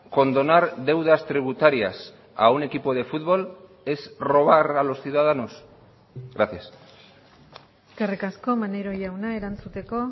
condonar deudas tributarias a un equipo de fútbol es robar a los ciudadanos gracias eskerrik asko maneiro jauna erantzuteko